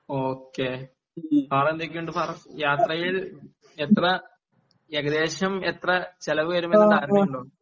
okay വേറെ എന്തൊക്കെയുണ്ട് ഫാറസ് യാത്രയിൽ എത്ര ഏകദേശം എത്ര ചിലവ് വരുമെന്ന് അറിഞ്ഞുണ്ടോ